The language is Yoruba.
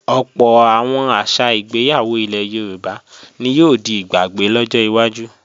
Ọ̀pọ̀ àwọn àṣà ìgbéyàwó ilẹ̀ Yorùbá ni yóò di ìgbàgbé lọ́jọ́ iwájú